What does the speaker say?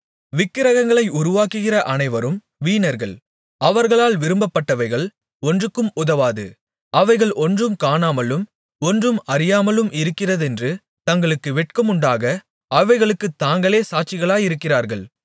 விக்கிரகங்களை உருவாக்குகிற அனைவரும் வீணர்கள் அவர்களால் விரும்பப்பட்டவைகள் ஒன்றுக்கும் உதவாது அவைகள் ஒன்றும் காணாமலும் ஒன்றும் அறியாமலும் இருக்கிறதென்று தங்களுக்கு வெட்கமுண்டாக அவைகளுக்குத் தாங்களே சாட்சிகளாயிருக்கிறார்கள்